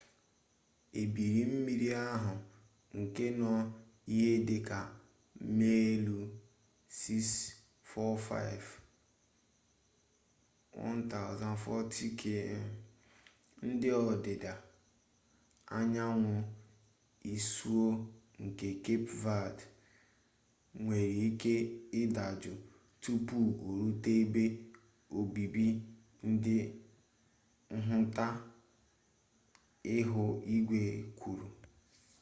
ebili mmiri ahụ nke nọ ihe dịka maịlụ 645 1040 km n'ọdịda anyanwụ isuo nke kep ved nwere ike ịdajụ tupu orute ebe obibi ndị nhụta ihu igwe kwuru